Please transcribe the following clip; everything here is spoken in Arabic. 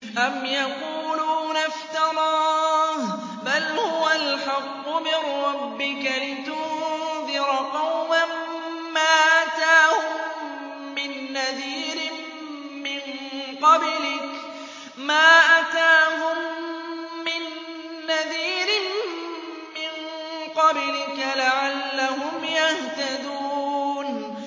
أَمْ يَقُولُونَ افْتَرَاهُ ۚ بَلْ هُوَ الْحَقُّ مِن رَّبِّكَ لِتُنذِرَ قَوْمًا مَّا أَتَاهُم مِّن نَّذِيرٍ مِّن قَبْلِكَ لَعَلَّهُمْ يَهْتَدُونَ